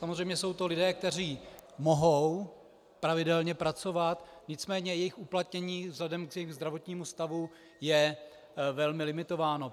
Samozřejmě jsou to lidé, kteří mohou pravidelně pracovat, nicméně jejich uplatnění vzhledem k jejich zdravotnímu stavu je velmi limitováno.